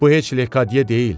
Bu heç Lekadiyə deyil.